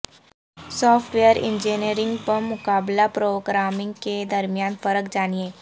soft where engineering بمقابلہ programming کے درمیان فرق جانیں